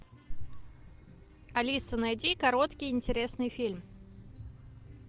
алиса найди короткий интересный фильм